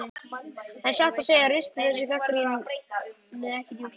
En satt að segja ristir þessi gagnrýni ekki djúpt.